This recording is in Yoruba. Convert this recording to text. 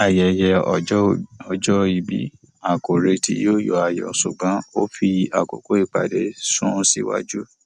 ayẹyẹ ọjọ ìbí a kò retí yọ ayọ ṣùgbọn ó fi àkókò ìpàdé sun síwájú